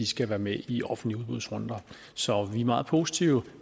skal være med i offentlige udbudsrunder så vi er meget positive